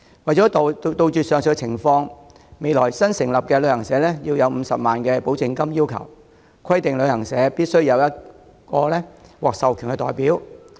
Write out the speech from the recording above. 為杜絕上述情況，將來新成立旅行社須先向旅遊業監管局繳存50萬元保證金，旅行社亦必須委任1名獲授權代表。